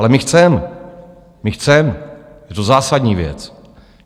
Ale my chceme, my chceme, je to zásadní věc.